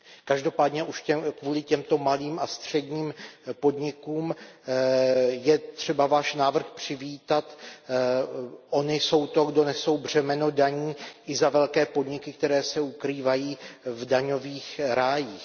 Každopádně už kvůli těmto malým a středním podnikům je třeba Váš návrh přivítat, ony jsou ty, kdo nesou to břemeno daní i za velké podniky, které se ukrývají v daňových rájích.